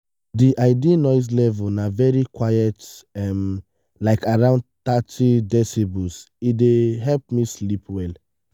di ideal noise level na very quiet um like around thirty decibels e dey help me sleep well.